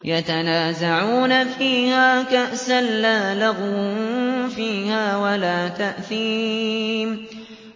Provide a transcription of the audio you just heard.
يَتَنَازَعُونَ فِيهَا كَأْسًا لَّا لَغْوٌ فِيهَا وَلَا تَأْثِيمٌ